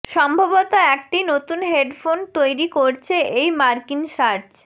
সম্ভবত একটি নতুন হেডফোন তৈরী করছে এই মার্কিন সার্চ